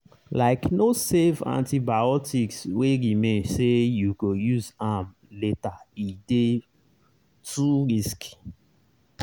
likeno save antibiotics wey remain say you go use am latere dey too risky.